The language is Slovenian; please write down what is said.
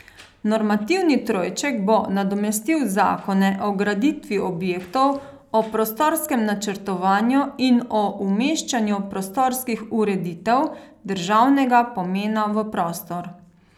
Normativni trojček bo nadomestil zakone o graditvi objektov, o prostorskem načrtovanju in o umeščanju prostorskih ureditev državnega pomena v prostor.